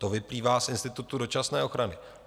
To vyplývá z institutu dočasné ochrany.